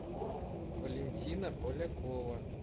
валентина полякова